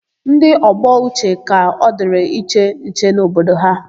Ndị ọgbọ Uche ka ọ dịrị iche nche n'obodo ha.